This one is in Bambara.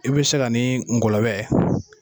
I bɛ se k'a ni ngɔlɔbɛ